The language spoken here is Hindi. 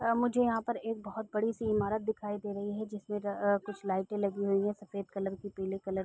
अ मुझे यहाँ पर एक बोहोत बड़ी सी इमारत दिखाई दे रही है। जिसमें अ कुछ लाईटें लगी हुई हैं सफ़ेद कलर की पीले कलर की।